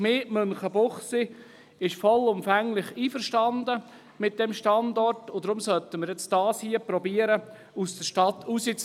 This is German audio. Die Gemeinde Münchenbuchsee ist mit dem Standort vollumfänglich einverstanden, und deshalb sollten wir versuchen, das SVSA aus der Stadt herauszulösen.